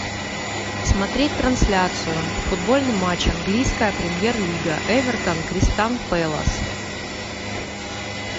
смотреть трансляцию футбольный матч английская премьер лига эвертон кристал пэлас